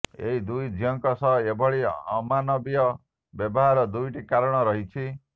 ଏଦି ଦୁଇ ଝିଅଙ୍କ ସହ ଏଭଳି ଅମାନବୀୟ ବ୍ୟବହାରର ଦୁଇଟି କାରଣ ରହିଛି